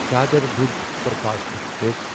دادر بوجھ superfast express